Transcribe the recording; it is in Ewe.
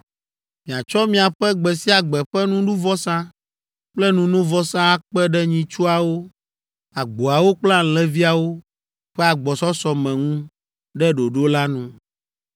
Miatsɔ miaƒe gbe sia gbe ƒe nuɖuvɔsa kple nunovɔsa akpe ɖe nyitsuawo, agboawo kple alẽviawo ƒe agbɔsɔsɔ me ŋu ɖe ɖoɖo la nu.